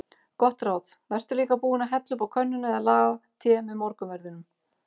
Gott ráð: Vertu líka búinn að hella upp á könnuna eða laga te með morgunverðinum.